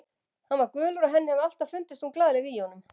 Hann var gulur og henni hafði alltaf fundist hún glaðleg í honum.